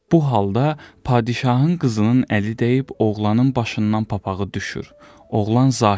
Bu halda padşahın qızının əli dəyib oğlanın başından papağı düşür, oğlan zahir olur.